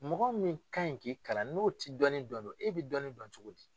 Mɔgɔ min ka ɲI k'i kalan, n'o ti dɔnni dɔn do e bi dɔnni dɔn cogo di?